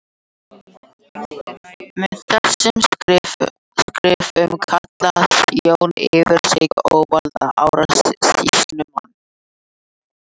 Með þessum skrifum kallaði Jón yfir sig óvild Ara sýslumanns.